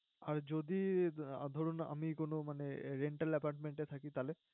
আর যদি ধরুন আমি কোনো মানে rental apartment এ থাকি, তাহলে?